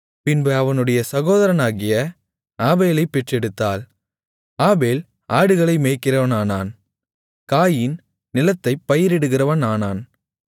பின்பு அவனுடைய சகோதரனாகிய ஆபேலைப் பெற்றெடுத்தாள் ஆபேல் ஆடுகளை மேய்க்கிறவனானான் காயீன் நிலத்தைப் பயிரிடுகிறவனானான்